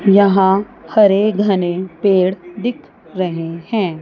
यहां हरे घने पेड़ दिख रहे हैं।